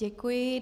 Děkuji.